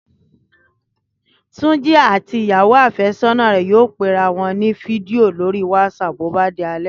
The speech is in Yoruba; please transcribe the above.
Túnjí àti ìyàwó àfẹ́sọ́nà rẹ̀ yóò pe ara wọn ní fídíò lórí WhatsApp bo bá di alẹ́